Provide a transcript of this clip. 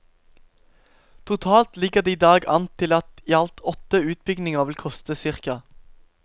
Totalt ligger det i dag an til at i alt åtte utbygginger vil koste ca.